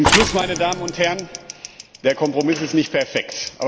Zum Schluss, meine Damen und Herren Der Kompromiss ist nicht perfekt.